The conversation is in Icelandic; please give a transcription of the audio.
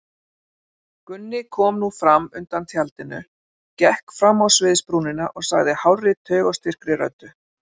Gunni kom nú fram undan tjaldinu, gekk fram á sviðsbrúnina og sagði hárri taugaóstyrkri röddu.